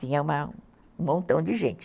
Tinha uma um montão de gente.